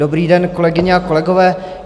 Dobrý den, kolegyně a kolegové.